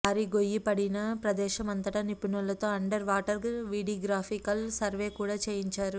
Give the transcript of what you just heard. భారీ గొయ్యి పడిన ప్రదేశం అంతట నిపుణులతో అండర్ వాటర్ వీడిగ్రాపికల్ సర్వే కూడ చేయించారు